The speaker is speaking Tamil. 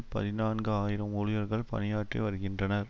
பதினான்கு ஆயிரம் ஊழியர்கள் பணியாற்றி வருகின்றனர்